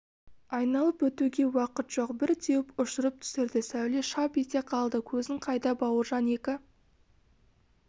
айналып өтуге уақыт жоқ бір теуіп ұшырып түсірді сәуле шап ете қалды көзің қайда бауыржан екі